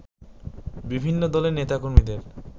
বিভিন্ন দলের নেতাকর্মীদের